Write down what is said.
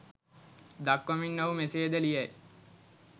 දක්වමින් ඔහු මෙසේ ද ලියයි